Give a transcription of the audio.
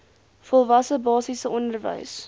volwasse basiese onderwys